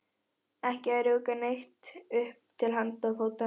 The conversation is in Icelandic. Ekki að rjúka neitt upp til handa og fóta.